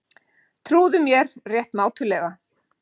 Trúðu mér rétt mátulega.